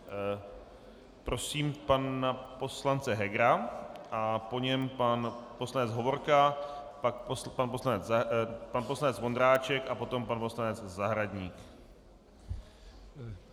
Prosím pana poslance Hegera a po něm pan poslanec Hovorka, pak pan poslanec Vondráček a potom pan poslanec Zahradník.